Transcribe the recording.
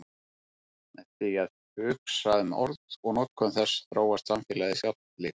Með því að hugsa um orð og notkun þess þróast samfélagið sjálft líka.